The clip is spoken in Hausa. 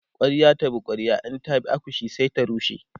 kwarya ta bi kwarya in ta bi akushe sai ta rushe